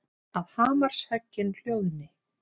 Að hamarshöggin hljóðni.